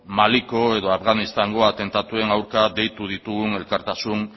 maliko edo afganistaneko atentatuen aurka deitu ditugun elkartasun